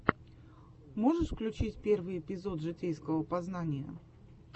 можешь включить первый эпизод житейского познания